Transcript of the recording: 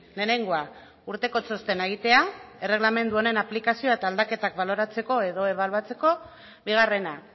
lehenengoa urteko txostena egitea erregelamendu honen aplikazioa eta aldaketak baloratzeko edo ebaluatzeko bigarrena